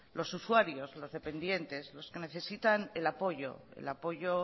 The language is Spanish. los usuarios los dependientes los que necesitan el apoyo el apoyo